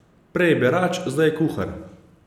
Prej berač, zdaj kuhar.